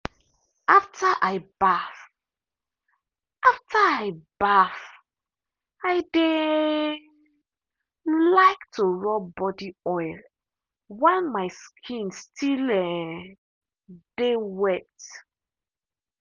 after i baff after i baff i dey um like to rub body oil while my skin still um dey wet.